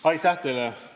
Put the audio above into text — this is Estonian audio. Aitäh teile!